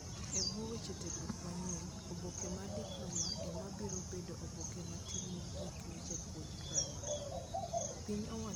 E buo weche tiegruok manyien, oboke mar diploma ema biro bedo oboke matin mogik ne jopuonj primar. Piny owacho golo chenro manyien mar tiegruok maber.